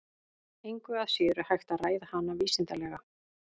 Engu að síður er hægt að ræða hana vísindalega.